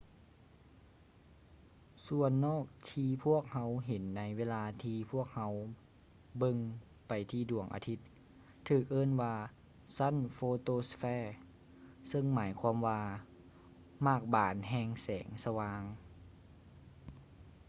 ສ່ວນນອກທີ່ພວກເຮົາເຫັນໃນເວລາທີ່ພວກເຮົາເບິ່ງໄປທີ່ດວງອາທິດ ຖືກເອີ້ນວ່າ ຊັ້ນໂຟໂຕສະເເຟ photosphere ຊຶ່ງໝາຍຄວາມວ່າ ໝາກບານແຫ່ງແສງສະຫວ່າງ